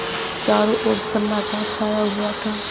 चारों ओर सन्नाटा छाया हुआ था